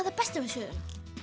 það besta við söguna